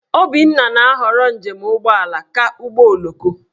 Obinna na-ahọrọ njem ụgbọala ka ụgbọoloko.